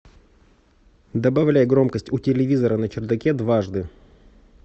добавляй громкость у телевизора на чердаке дважды